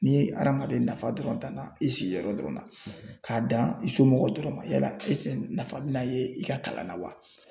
Ni adamaden nafa dɔrɔn danna i sigiyɔrɔ dɔrɔn na, k'a dan i somɔgɔw dɔrɔn ma yala ɛseke nafa bɛna ye i ka kalan na wa ?